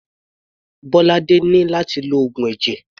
Bolade ní láti lo oògùn ẹ̀jẹ̀.